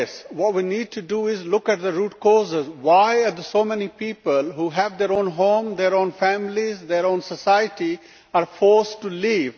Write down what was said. What we need to do is look at the root causes of why so many people, who have their own home, their own families and their own society, are forced to leave.